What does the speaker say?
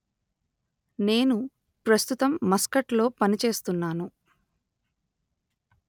నేను ప్రస్తుతము మస్కట్ లో పని చేస్తున్నాను